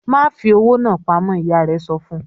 "Ma fi owó náa pamọ́!" Ìyá rẹ̀ sọ fun.